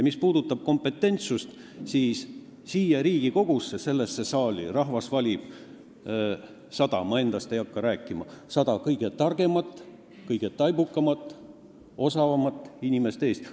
Mis puudutab kompetentsust, siis siia Riigikogusse, sellesse saali valib rahvas sada – ma endast ei hakka rääkima – kõige targemat, taibukamat ja osavamat inimest Eestis.